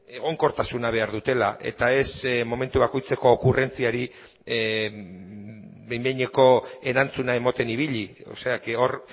egonkortasuna behar dutela eta ez momentu bakoitzeko okurrentziari behin behineko erantzuna ematen ibili hor